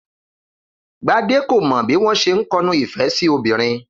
Gbadé kò mo̩ bí wó̩n s̩e ń ko̩nu ìfé̩ sí obìnrin